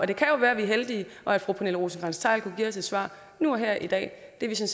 det kan jo være vi er heldige og at fru pernille rosenkrantz theil kunne give os et svar nu og her i dag det